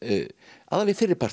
aðallega í fyrri partinum